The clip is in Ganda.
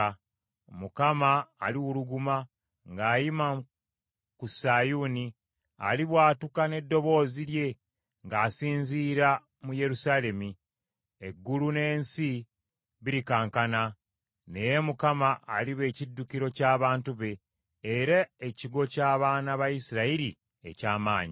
Mukama aliwuluguma ng’ayima ku Sayuuni; alibwatuka n’eddoboozi lye ng’asinziira mu Yerusaalemi. Eggulu n’ensi birikankana. Naye Mukama aliba ekiddukiro ky’abantu be, era ekigo ky’abaana ba Isirayiri eky’amaanyi.